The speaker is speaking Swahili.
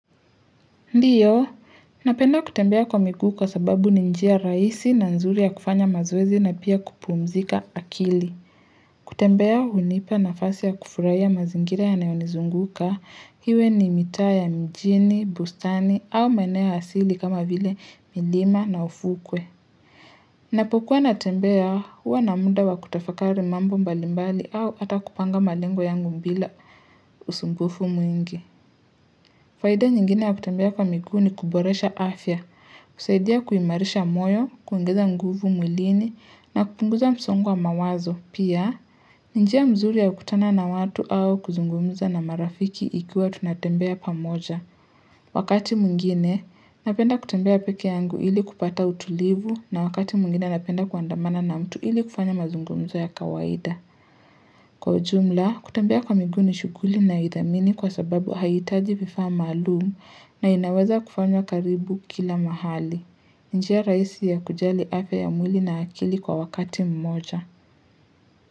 Ndio, napenda kutembea kwa miguu kwa sababu ni njia rahisi na nzuri ya kufanya mazoezi na pia kupumzika akili. Kutembea hunipa nafasi ya kufurahia mazingira yanayonizunguka, iwe ni mitaa ya mjini, bustani au maeneo asili kama vile milima na ufukwe. Napokuwa natembea huwa na muda wa kutafakari mambo mbali mbali au ata kupanga malengo yangu bila usumbufu mwingi. Faida nyingine ya kutembea kwa miguu ni kuboresha afya, kusaidia kuimarisha moyo, kuongeza nguvu mwilini na kupunguza msongo wa mawazo. Pia, ni njia mzuri ya kutana na watu au kuzungumza na marafiki ikiwa tunatembea pamoja. Wakati mwingine, napenda kutembea pekee yangu ili kupata utulivu na wakati mwingine napenda kuandamana na mtu ili kufanya mazungumzo ya kawaida. Kwa ujumla, kutembea kwa miguu ni shughuli nayoidhamini kwa sababu haitaji vifaa maalumu na inaweza kufanywa karibu kila mahali. Njia rahisi ya kujali afya ya mwili na akili kwa wakati mmoja.